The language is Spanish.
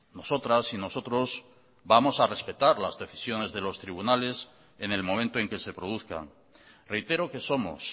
nosotras y nosotros vamos a respetar las decisiones de los tribunales en el momento en que se produzcan reitero que somos